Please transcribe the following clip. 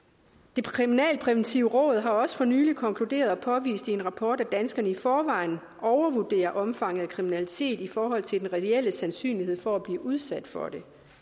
det kriminalpræventive råd har også for nylig konkluderet og påvist i en rapport at danskerne i forvejen overvurderer omfanget af kriminalitet i forhold til den reelle sandsynlighed for at blive udsat for